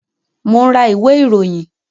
Mo ń ra ìwé ìròyìn